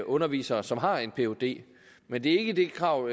undervisere som har en phd men det er ikke det krav